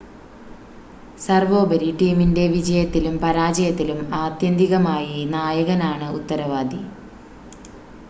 സർവോപരി ടീമിൻ്റെ വിജയത്തിലും പരാജയത്തിലും ആത്യന്തികമായി നായകനാണ് ഉത്തരവാദി